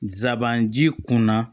Sabanan ji kunna